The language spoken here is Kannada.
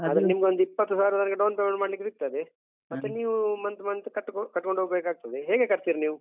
ಆದ್ರೆ ನಿಮ್ಗೊಂದ್ ಇಪ್ಪತ್ತು ಸಾವಿರದವರೆಗೆ down payment ಮಾಡ್ಲಿಕ್ಕೆ ಸಿಗ್ತದೆ ಮತ್ತೆ ನೀವು month month ಕಟ್ಕೊಂ~ ಕಟ್ಕೊಂಡ್ ಹೋಗ್ಬೇಕಾಗ್ತದೆ ಹೇಗೆ ಕಟ್ತೀರಿ ನೀವು?